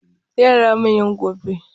Yara manyan gobe.